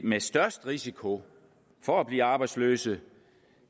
med størst risiko for at blive arbejdsløse